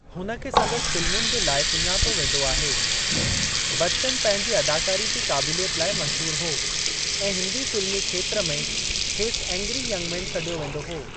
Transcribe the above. हुन खे संदसि फ़िल्मुनि जे लाइ सुञातो वेंदो आहे। बच्चन पंहिंजी अदाकारी जी क़ाबिलियत लाइ मशहूरु हो ऐं हिन्दी फ़िल्मी खेत्र में खेसि एंग्री यंग मेन सॾियो वेंदो हो।